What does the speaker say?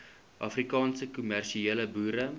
afrikaanse kommersiële boere